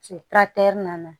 nana